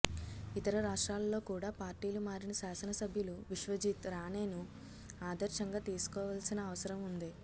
ఇతర రాష్ట్రాలలో కూడా పార్టీలు మారిన శాసనసభ్యులు విశ్వజిత్ రాణేను ఆదర్శంగా తీసుకోవాల్సిన అవసరం ఉంది